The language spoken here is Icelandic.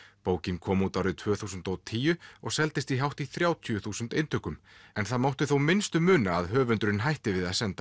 bókin kom út árið tvö þúsund og tíu og seldist í hátt í þrjátíu þúsund eintökum en það mátti þó minnsta muna að höfundurinn hætti við að senda